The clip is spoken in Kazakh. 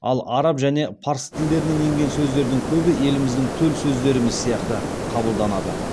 ал араб және парсы тілдерінен енген сөздердің көбі еліміздің төл сөздеріміз сияқты қабылданады